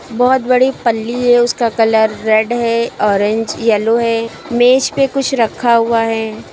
बहुत बड़ी पल्ली है उसका कलर रेड है ऑरेंज येलो है मेज पे कुछ रखा हुआ है।